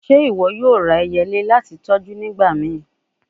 Ṣe iwọ yoo ra ẹyẹle lati tọju nigbamii?